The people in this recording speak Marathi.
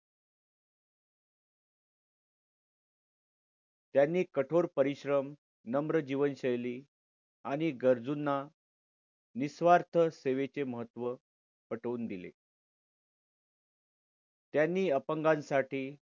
त्यांनी कठोर परिश्रम नम्र जीवन शैली आणि गरजूंन निस्वार्थ सेवेचे महत्व पटवून दिले. त्यांनी अपंगांसाठी